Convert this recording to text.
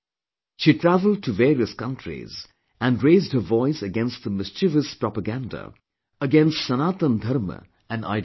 She travelled to various countries and raised her voice against the mischievous propaganda against Sanatan Dharma and ideology